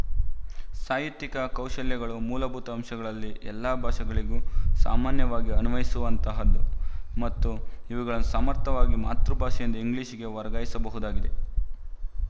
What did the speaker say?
ಸಾಹಿತ್ಯಿಕ ಕೌಶಲ್ಯಗಳು ಮೂಲಭೂತ ಅಂಶಗಳಲ್ಲಿ ಎಲ್ಲಾ ಭಾಷೆಗಳಿಗೂ ಸಾಮಾನ್ಯವಾಗಿ ಅನ್ವಯಿಸುವಂತಹದ್ದು ಮತ್ತು ಇವುಗಳನ್ನು ಸಮರ್ಥವಾಗಿ ಮಾತೃಭಾಷೆಯಿಂದ ಇಂಗ್ಲಿಶಿಗೆ ವರ್ಗಾಯಿಸಬಹುದಾಗಿದೆ